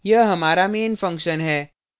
यह हमारा main function हैं